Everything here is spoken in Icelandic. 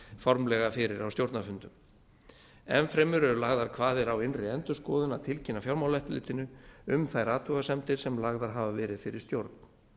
formlega fyrir á stjórnarfundum enn fremur eru lagðar kvaðir á innri endurskoðun að tilkynna fjármálaeftirlitinu um þær athugasemdir sem lagðar hafa verið fyrir stjórn